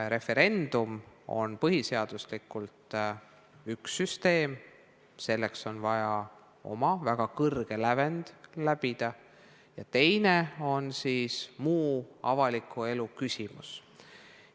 Referendum on põhiseaduslikult üks süsteem, selleks on vaja saavutada väga kõrge lävend, ja teine on muu avaliku elu küsimus.